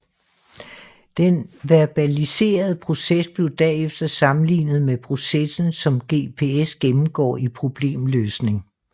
Den verbaliserede proces blev derefter sammenlignet med processen som GPS gennemgår i problemløsning